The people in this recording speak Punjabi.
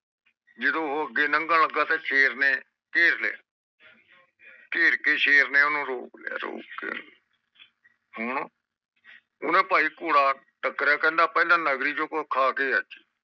ਜਦੋ ਉਹ ਅਗੇ ਲੰਘਣ ਲਗਾ ਤੇ ਸ਼ੇਰ ਨੇ ਓਹਨੂੰ ਘੇਰ ਲਿਆ ਘੇਰਰ ਕੇ ਸ਼ੇਰ ਨੇ ਓਹਨੂੰ ਰੋਕ ਲੋਇ ਰੋਕਕੇ ਹੁਣ ਉੱਗ ਕਹਿੰਦਾ ਭਾਈ ਕੋਰੜਾ ਟੱਕਰਿਆ ਕਹਿੰਦਾ ਭਾਈ ਪੋਹਿਲਾ ਨਗਰੀ ਚੋ ਕੁਜ ਖਾ ਕੇ ਆਈਏ